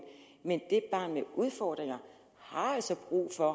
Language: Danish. men et barn med udfordringer har altså brug for at